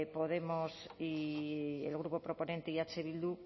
podemos y el grupo proponente y eh bildu